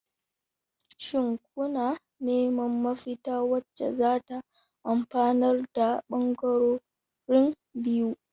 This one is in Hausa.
Shin kuna neman mafita wacce zata amfanar da bangarorin biyu?